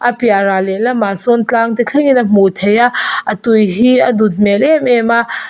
a piah ral leh lamah sawn tlang te thleng in a hmuh theih a a tui hi a nut hmel em em a.